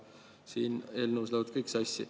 Siin eelnõus läheb see kõik sassi.